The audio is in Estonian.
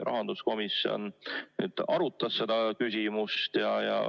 Rahanduskomisjon tõesti arutas seda küsimust.